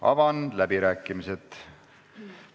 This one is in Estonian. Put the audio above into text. Avan läbirääkimised.